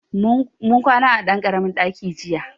Mun kwana a ɗan ƙaramin ɗaki jiya.